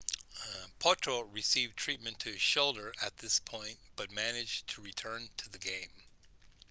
potro received treatment to his shoulder at this point but managed to return to the game